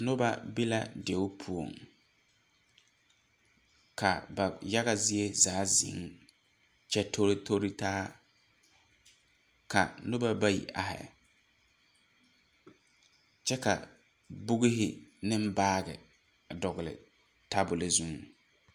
Nuba be la deɛ pou kaba yaga zee zaa zeng kye tori tori taa ka nuba bayi arẽ kye bɔg hi ni baagi a dɔgli tabuli zueng.